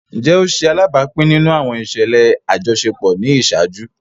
Njẹ o ṣe alabapin nínú àwọn iṣẹlẹ ajọṣepọ ni iṣaaju?